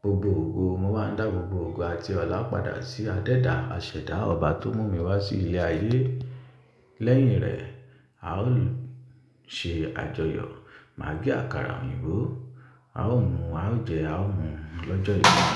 gbogbo ògo, mo máa ń dá gbogbo ògo àti ọlá padà sí adéda àsẹ̀dá Ọba tó mú mi wá sí ilẹ̀ ayé. Lẹ́yìn rẹ̀, a ó ṣe àjọyọ̀, màá gbé àkàrà òyìnbó, a ó mu, a ó jẹ, a ó mu lọ́jọ́ ìbí mi.